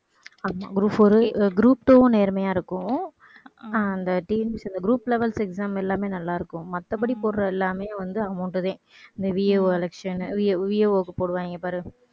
ஆமா group four உ group two வும் நேர்மையா இருக்கும். அஹ் அந்த TNPSC இந்த group levels exam எல்லாமே நல்லா இருக்கும். மத்தபடி போடுற எல்லாமே வந்து amount தான். இந்த VAOelectionVAO க்கு போடுவாங்க பாரு